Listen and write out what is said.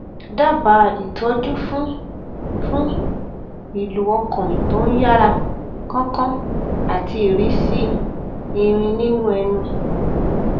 dábàá ìtọjú fún fún ìlù ọkàn tó ń yára kánkán àti ìrísí irin nínú ẹnu